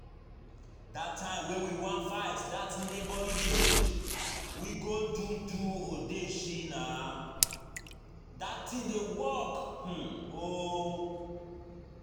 Dat time when we wan fight dat neigbouring village, we go do do odeshi nah, dat thing dey work oo